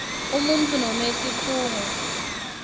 umuntfu noma sikhungo